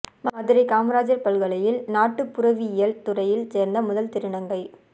மதுரை காமராஜர் பல்கலையில் நாட்டு புறவியல் துறையில் சேர்ந்த முதல் திருநங்கை